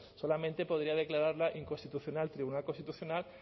solamente podría declararla inconstitucional tribunal constitucional